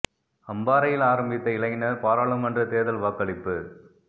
அம்பாறையில் ஆரம்பித்த இளைஞர் பாராளுமன்ற தேர்தல் வாக்களிப்பு